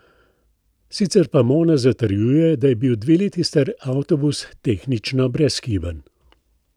Sicer pa Mona zatrjuje, da je bil dve leti star avtobus tehnično brezhiben.